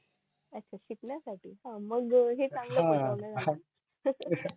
अच्छा शिकण्या साठी का मग हे चांगलं केलं